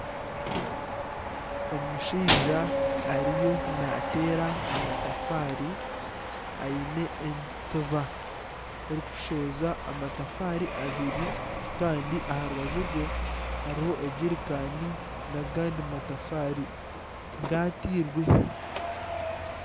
Omushaija ariyo naateera amatafaari aine entiba erikushohoza amatafaari abiri kandi aha rubaju rwe hariho egirikani n'agandi matafaari gaatairwe